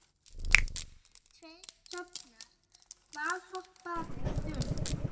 Tveir hrafnar valhoppa þung